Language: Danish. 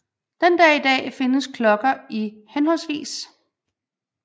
Den dag i dag findes klokker i hhv